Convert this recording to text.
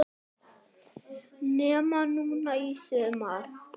Nema núna í sumar.